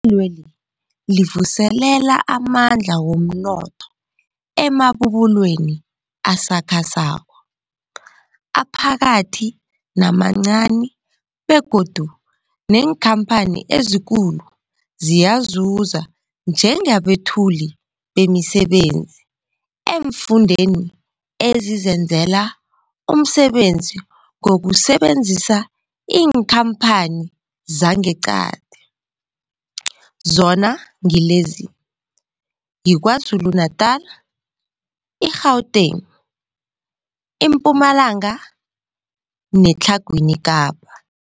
weli livuselela amandla womnotho emabubulweni asakhasako, aphakathi namancani begodu neenkhamphani ezikulu ziyazuza njengabethuli bemisebenzi eemfundeni ezizenzela umsebenzi ngokusebenzisa iinkhamphani zangeqadi, zona ngilezi, yiKwaZulu Natala, i-Gauteng, iMpumalanga neTlhagwini Kapa.